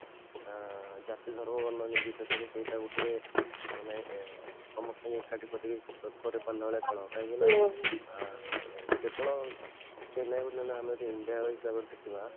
ଅଂ ଜାତି ଧର୍ମ ବର୍ଣ୍ଣ ନିର୍ବିଶେଷ ରେ ସେଇଟା ଗୋଟେ ମାନେ ଏଁ ସମସ୍ତେ ଏକାଠି କରି କାହିଁକିନା କେବଳ chennai କୁ ଆମେ ଯଦି india ହିସାବରେ ଦେଖିବା